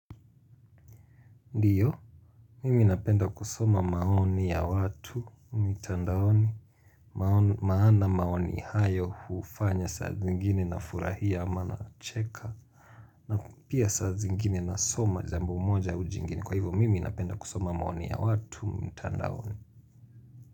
Ndiyo, mimi napenda kusoma maoni ya watu, mitandaoni, maana maoni hayo hufanya saa zingine nafurahia maana nacheka, na pia saa zingine nasoma jambo moja au jingine, kwa hivyo mimi napenda kusoma maoni ya watu, mtandaoni.